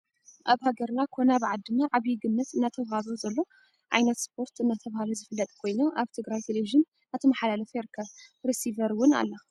ኣብ ሃገርና ኮነ ኣብ ዓዲና ዓብይ ግምት እናተዋህቦ ዘሎ ዓይነት ስፖርት እናተባህለዝፍለጥ ኮይኑ ኣብ ትግራይ ቴሌቭን እናተማሓላለፈ ይርከብን ረስቨር እውን ኣላ።